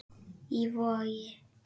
Í Vogi.